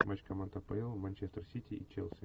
матч команд апл манчестер сити и челси